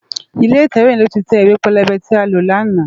Ilé itèwé yèn ló tè iwé pélébé ti á ló làná